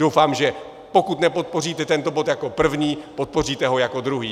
Doufám, že pokud nepodpoříte tento bod jako první, podpoříte ho jako druhý.